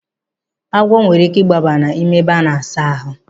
Agwọ nwere ike igbaba n'ime ebe a na-asa ahụ.